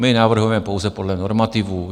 My navrhujeme pouze podle normativů.